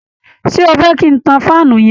Ṣé ó fẹ́ kin tan faanu yẹn?